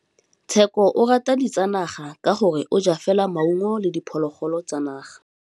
Tshekô o rata ditsanaga ka gore o ja fela maungo le diphologolo tsa naga.